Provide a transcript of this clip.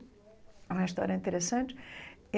É uma história interessante.